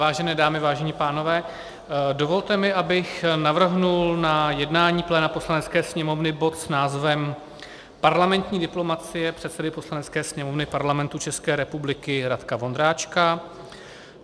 Vážené dámy, vážení pánové, dovolte mi, abych navrhl na jednání pléna Poslanecké sněmovny bod s názvem Parlamentní diplomacie předsedy Poslanecké sněmovny Parlamentu České republiky Radka Vondráčka.